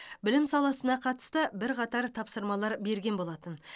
білім саласына қатысты бірқатар тапсырамалар берген болатын